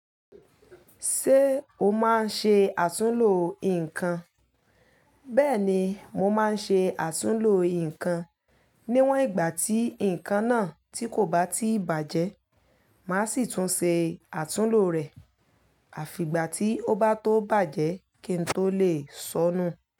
Ṣé o máa ń ṣe àtúnlo nǹkan? Bẹ́ẹ̀ni, mo máa ń ṣe àtúnlo nǹkan. Níwọn ìgbà tí nǹkan náà tí kò bá tí bàjẹ́, màá sì tún ṣe àtúnlo rẹ̀. Àfi ìgbà tí ó bá tó bàjẹ́ kí n tó lè sọ́nù.